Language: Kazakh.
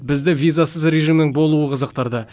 бізді визасыз режимнің болуы қызықтырды